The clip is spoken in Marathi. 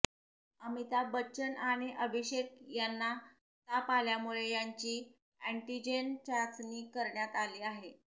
अमिताभ बच्चन आणि अभिषेक यांना ताप आल्यामुळे त्यांची अँटिजेन चाचणी करण्यात आली आहे